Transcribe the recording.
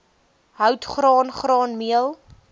hout graan graanmeel